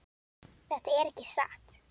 Þetta er ekki satt!